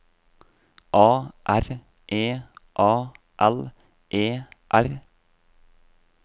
A R E A L E R